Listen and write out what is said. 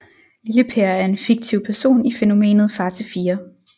Lille Per er en fiktiv person i fænomenet Far til fire